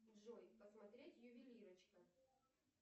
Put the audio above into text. джой посмотреть ювелирочка